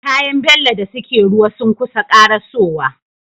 Kayan bello da suke ruwa sunkusa karaso wa